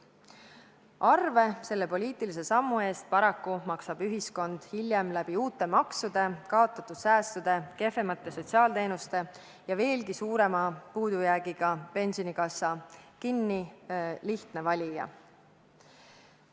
Arve selle poliitilise sammu eest maksab paraku hiljem uute maksude, kaotatud säästude, kehvemate sotsiaalteenuste ja pensionikassa veelgi suurema puudujäägi kujul kinni lihtne valija.